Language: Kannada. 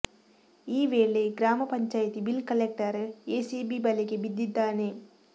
ಈ ವೇಳೆ ಗ್ರಾಮ ಪಂಚಾಯತಿ ಬಿಲ್ ಕಲೆಕ್ಟರ್ ಎಸಿಬಿ ಬಲೆಗೆ ಬಿದ್ದಿದ್ದಾನೆ